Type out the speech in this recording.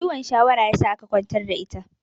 Ciwon shawara ya sa aka ƙwantar da ita